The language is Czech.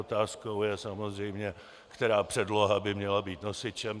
Otázkou je samozřejmě, která předloha by měla být nosičem.